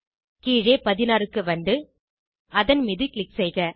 கீழே 16 க்கு வந்து அதன் மீது க்ளிக் செய்க